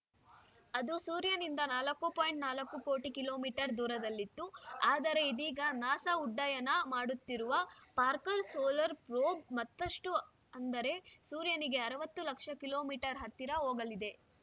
ಅದು ಸೂರ್ಯನಿಂದ ನಾಲ್ಕು ಪಾಯಿಂಟ್ ನಾಲ್ಕು ಕೋಟಿ ಕಿಲೋ ಮೀಟರ್ ದೂರದಲ್ಲಿತ್ತು ಆದರೆ ಇದೀಗ ನಾಸಾ ಉಡ್ಡಯನ ಮಾಡುತ್ತಿರುವ ಪಾರ್ಕರ್‌ ಸೊಲರ್‌ ಪ್ರೋಬ್‌ ಮತ್ತಷ್ಟುಅಂದರೆ ಸೂರ್ಯನಿಗೆ ಅರವತ್ತು ಲಕ್ಷ ಕಿಲೋ ಮೀಟರ್ ಹತ್ತಿರ ಹೋಗಲಿದೆ